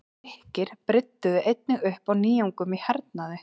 Grikkir brydduðu einnig upp á nýjungum í hernaði.